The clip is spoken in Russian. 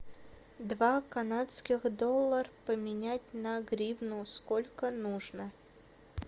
два канадских доллар поменять на гривну сколько нужно